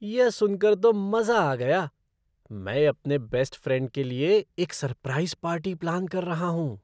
यह सुनकर तो मज़ा आ गया! मैं अपने बेस्ट फ़्रेंड के लिए एक सरप्राइज़ पार्टी प्लान कर रहा हूँ।